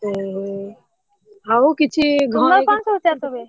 ଓହୋ ଆଉ କିଛି ଘରେ ତମର କଣ ସବୁ ଚାଷ ହୁଏ?